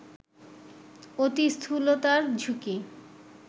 অতি স্থূলতার ঝুঁকি